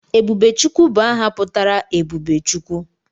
Ebubechukwu bụ aha pụtara 'Ebube Chukwu'